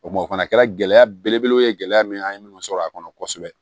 O kuma o fana kɛra gɛlɛya belebele ye gɛlɛya min an ye minnu sɔrɔ a kɔnɔ kosɛbɛ